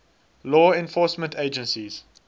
law enforcement agencies